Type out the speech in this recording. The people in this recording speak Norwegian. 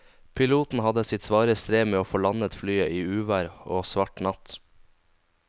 Piloten hadde sitt svare strev med å få landet flyet i uvær og svart natt.